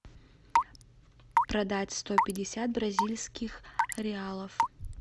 продать сто пятьдесят бразильских реалов